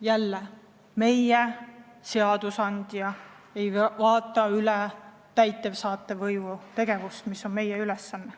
Jälle meie, seadusandja, ei vaata üle täidesaatva võimu tegevust, kuigi see on meie ülesanne.